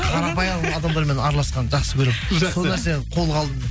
қарапайым адамдармен араласқанды жақсы көремін жақсы сол нәрсені қолға алдым